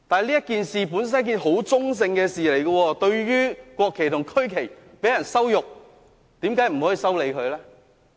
這件事本來相當中性，對於羞辱國旗和區旗的人，為何不能修理他呢？